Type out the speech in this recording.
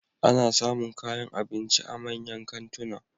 Ana samun kayan abinci a manyan kantuna.